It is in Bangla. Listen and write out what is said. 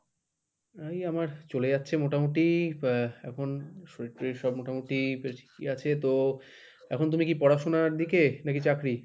এই আমার চলে যাচ্ছে মোটামুটি আহ এখন শরীর টরীর সব মোটামুটি ঠিকই আছে তো, এখন তুমি কি পড়াশোনার দিকে নাকি চাকরি?